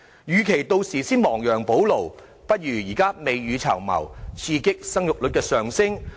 與其屆時亡羊補牢，不如現在未雨綢繆，刺激生育率上升。